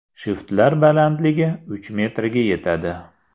Shiftlar balandligi uch metrga yetadi.